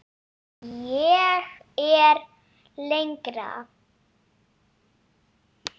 Ég fer lengra.